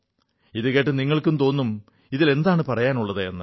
ഇതു കേട്ട് നിങ്ങൾക്ക് തോന്നും ഇതിൽ എന്തു പുതുമയാണുള്ളതെന്ന്